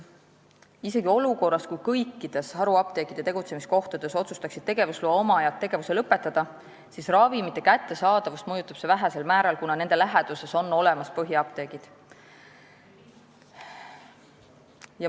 Isegi olukorras, kus kõikides haruapteekide tegutsemiskohtades otsustaksid tegevusloa omajad tegevuse lõpetada, mõjutaks see ravimite kättesaadavust vähesel määral, sest läheduses on olemas põhiapteegid.